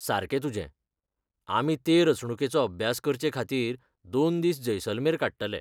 सारकें तुजें! आमी ते रचणुकेचो अभ्यास करचेखातीर दोन दिस जैसलमेर काडटले.